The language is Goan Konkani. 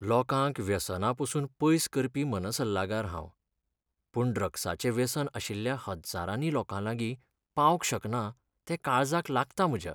लोकांक व्यसनां पसून पयस करपी मनसल्लागार हांव, पूण ड्रग्साचें व्यसन आशिल्ल्या हज्जारांनी लोकांलागीं पावंक शकना तें काळजाक लागता म्हज्या.